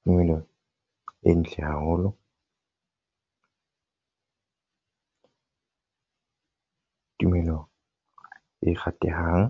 tumelo e ntle haholo, tumelo e ratehang.